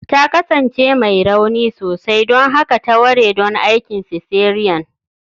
Ta kasance mai rauni sosai, don haka ta ware don aikin cesarean